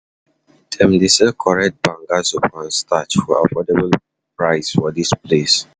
Dem dey sell correct banga soup and starch for affordable price for dis place.